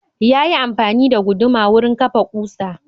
Yayi amfani da guduma wurin kafa kusa.